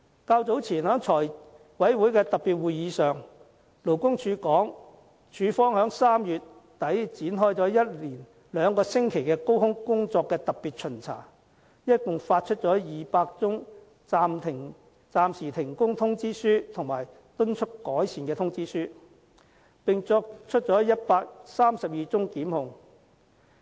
較早前在財委會特別會議上，勞工處稱處方在3月底展開了一連兩星期的高空工作特別巡查，一共發出200宗暫時停工通知書和敦促改善通知書，並作出132宗檢控。